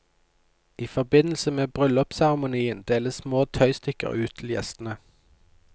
I forbindelse med bryllupsseremonien deles små tøystykker ut til gjestene.